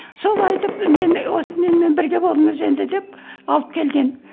сол айтып мен осы менімен бірге болыңыз енді деп алып келген